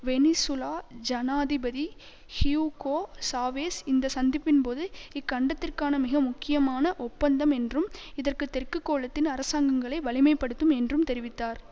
Venezuela ஜனாதிபதி Hugo Chavez இந்த சந்திப்பின் போது இக்கண்டத்திற்கான மிக முக்கியமான ஒப்பந்தம் என்றும் இது தெற்கு கோளத்தின் அரசாங்கங்களை வலிமை படுத்தும் என்றும் தெரிவித்தார்